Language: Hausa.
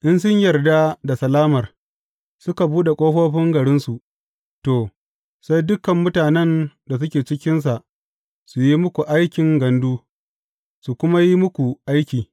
In sun yarda da salamar, suka buɗe ƙofofin garinsu, to, sai dukan mutanen da suke cikinsa su yi muku aikin gandu, su kuma yi muku aiki.